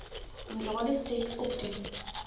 orale seks opdoen